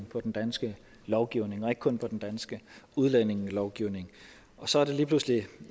på den danske lovgivning og ikke kun på den danske udlændingelovgivning så er det lige pludselig